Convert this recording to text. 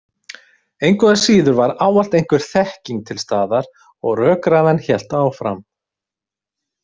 Engu að síður var ávallt einhver þekking til staðar og rökræðan hélt áfram.